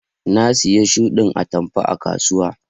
Na siya shuɗin atamfa a kasuwa.